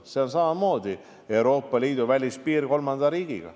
See on samamoodi Euroopa Liidu välispiir kolmanda riigiga.